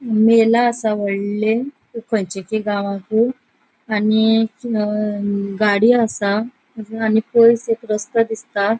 मेला असा वोडले खनचे गावाकु आणि अ गाड़ियों असा आणि पयस एक रस्तों दिसता.